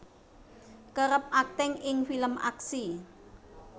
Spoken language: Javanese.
kerep akting ing film aksi